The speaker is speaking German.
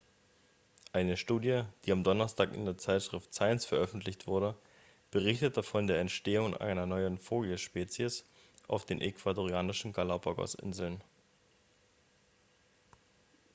eine studie die am donnerstag in der zeitschrift science veröffentlicht wurde berichtete von der entstehung einer neuen vogelspezies auf den ecuadorianischen galápagos-inseln